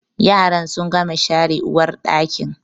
Yaran sun gama share uwarɗakin